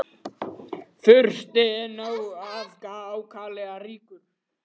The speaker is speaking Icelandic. Fursti einn ákaflega ríkur.